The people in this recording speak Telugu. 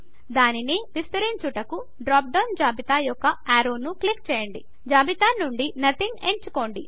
దానిని విస్తరించుటకు డ్రాప్ డౌన్ జాబితా యొక్క యారో ను క్లిక్ చేయండి జాబితా నుండి నదింగ్ ఎంచుకోండి